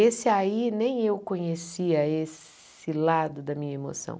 Esse aí, nem eu conhecia esse lado da minha emoção.